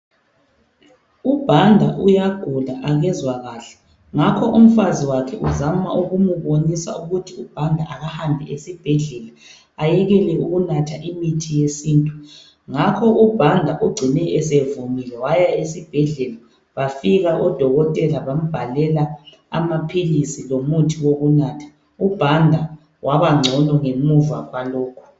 UBhanda uyagula akezwa kahle ngakho umfazi wakhe uzama ukumubonisa ukuthi uBhanda akahambe esibhedlela ayekele ukunatha imithi yesintu, ngakho ke uBhanda ugcine esevumile waya esibhedlela bafika odokotela bambhalela amaphilisi lomuthi wokunatha. UBhanda wabangcono ngemuva kwalokho.